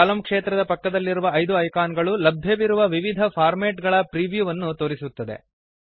ಕಲಮ್ ಕ್ಷೇತ್ರದ ಪಕ್ಕದಲ್ಲಿರುವ ಐದು ಐಕಾನ್ ಗಳು ಲಭ್ಯವಿರುವ ವಿವಿಧ ಫಾರ್ಮ್ಯಾಟ್ ಗಳ ಪ್ರೀವ್ಯೂವನ್ನು ತೋರಿಸುತ್ತದೆ